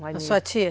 Na sua tia?